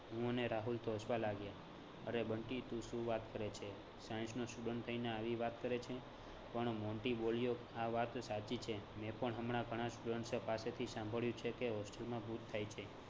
હું ને રાહુલ તો હસવા લાગ્યા. અરે બંટી તું સુ વાત કરે છે? science નો student થઈને આવી વાત કરે છે? પણ મોન્ટી બોલ્યો આ વાત સાચી છે મેં પણ હમણાં ઘણાં students પાસેથી સાંભળ્યું છે કે hostel માં ભૂત થાય છે